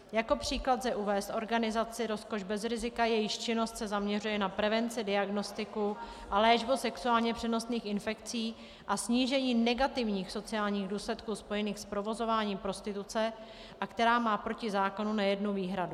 Jako příklad lze uvést organizaci Rozkoš bez rizika, jejíž činnost se zaměřuje na prevenci, diagnostiku a léčbu sexuálně přenosných infekcí a snížení negativních sociálních důsledků spojených s provozováním prostituce a která má proti zákonu nejednu výhradu.